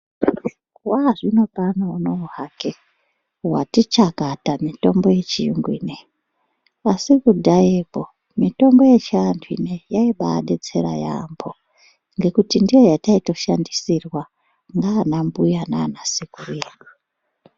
Waazvinopano unowu hake wati chakata mutombo yechiyungu ineyi asi kudhayakwo mitombo yechiantu inei yaibadetsera yaampo nekuti ndiyo yataito shandisrwa ndiana mbuya nana sekuru edu.